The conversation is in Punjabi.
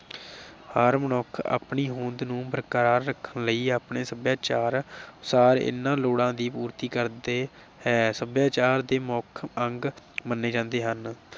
ਹਰ ਮਨੁੱਖ ਆਪਣੀ ਹੋਂਦ ਨੂੰ ਬਰਕਰਾਰ ਰੱਖਣ ਲਈ ਆਪਣੇ ਸਭਿਆਚਾਰ ਅਨੁਸਾਰ ਇਨ੍ਹਾਂ ਲੋੜਾਂ ਦੀ ਪੂਰਤੀ ਕਰਦੇ ਹੈ। ਸਭਿਆਚਾਰ ਦੇ ਮੁੱਖ ਅੰਗ ਮੰਨੇ ਜਾਂਦੇ ਹਨ।